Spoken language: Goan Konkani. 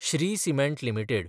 Shri cement limited